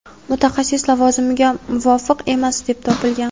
mutaxassis lavozimiga muvofiq emas deb topilgan.